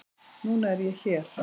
Núna er ég hér.